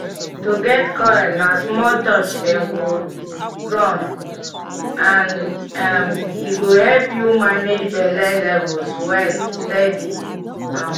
to get coil na small touch dem go run — and um e go help you manage belle levels well steady. um